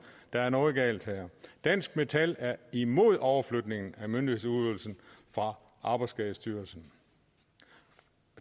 der er noget galt her dansk metal er imod overflytningen af myndighedsudøvelsen fra arbejdsskadestyrelsen